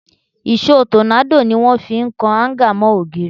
Ìṣó tọ́nádò ni wọ́n fi ń kan áńgà mọ́ ògiri